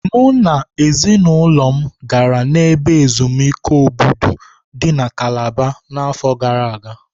Mụ na ezinụlọ m gara n'ebe ezumike Obudu dị na kalaba na afọ gara aga.